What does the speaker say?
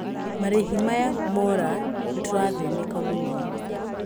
Marĩhi maya mora nĩtũrathĩnĩka mũno."